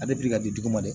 A bɛ ka di dugu ma de